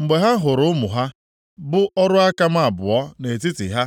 Mgbe ha hụrụ ụmụ ha, bụ ọrụ aka m abụọ, nʼetiti ha,